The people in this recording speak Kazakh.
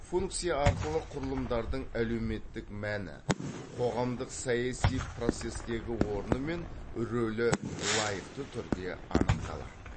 функция арқылы құрылымдардың әлеуметтік мәні қоғамдық саяси процестегі орны мен рөлі лайықты түрде анықталады